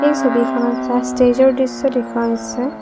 এই ছবিখনত এটা ষ্টেজৰ দৃশ্য দেখুওৱা হৈছে।